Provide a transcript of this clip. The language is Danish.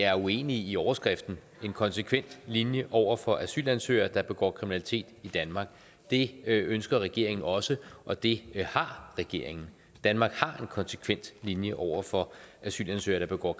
er uenige i overskriften en konsekvent linje over for asylansøgere der begår kriminalitet i danmark det ønsker regeringen også og det har regeringen danmark har en konsekvent linje over for asylansøgere der begår